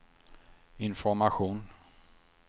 information